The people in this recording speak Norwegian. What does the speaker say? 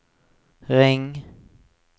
ring